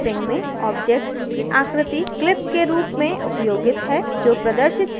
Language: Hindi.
clipping में object की आकृति clip के रूप में उपयोगित है जो प्रदर्शित क्षेत्र को परिभाषित करता है